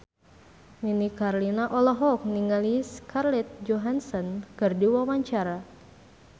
Nini Carlina olohok ningali Scarlett Johansson keur diwawancara